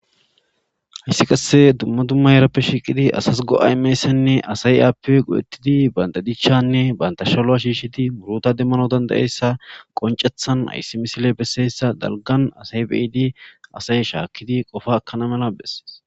hayssi qasse dumma dumma yerappe shiiqidi asas go7aymessanne asay aappe qodettidi bandadichanne bantashaloa shiishidi muruta demmano dandayessa qoncethan hayssi misile besseyssa dalgan asay beyidi asay shaakkidi qofa akana mala besses